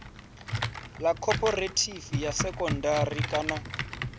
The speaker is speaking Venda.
ḽa khophorethivi ya sekondari kana